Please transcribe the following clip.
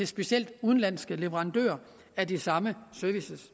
specielt udenlandske leverandører af de samme services